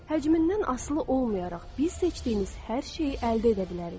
Həcmindən asılı olmayaraq, biz seçdiyiniz hər şeyi əldə edə bilərik.